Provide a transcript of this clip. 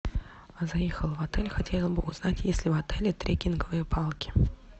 заехала в отель хотела бы узнать есть ли в отеле трекинговые палки